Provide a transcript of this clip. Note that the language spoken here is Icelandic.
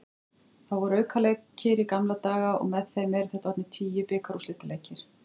Það voru aukaleikir í gamla daga og með þeim eru þetta orðnir tíu bikarúrslitaleikir.